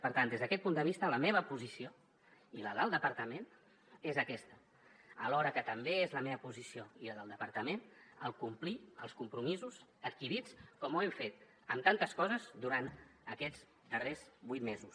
per tant des d’aquest punt de vista la meva posició i la del departament és aquesta alhora que també és la meva posició i la del departament el complir els compromisos adquirits com ho hem fet en tantes coses durant aquests darrers vuit mesos